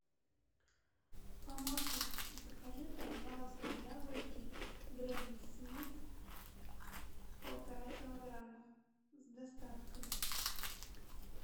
помощник закажи пожалуйста яблоки гренни смит полтора килограмма с доставкой